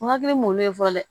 N hakili m'olu ye fɔlɔ dɛ